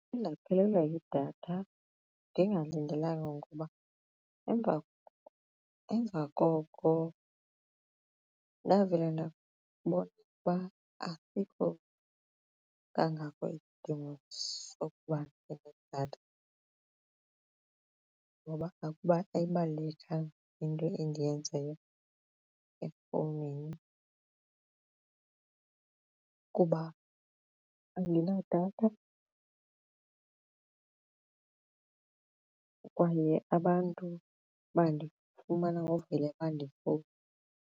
Ndake ndaphelelwa yidatha ndingalindelanga ngoba emva koko nawe ndabona ukuba asikho kangako isidingo sokuba ndibe nedatha ngoba ayibalulekanga into endiyenzayo efowunini kuba andinadatha kwaye abantu bandifumana ngokuvele bandifowunele.